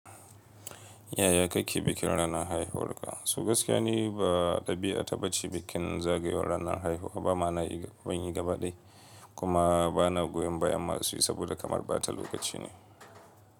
Yaya kake bikin ranar haihuwarka? So gaskiya ni ba ɗabi'a ta baci bikin zagayowan ranar aihuwa, ba ma'ana, ban yi gaba ɗai, kuma bana goyon bayan masu yi saboda kamar bata lokaci ne.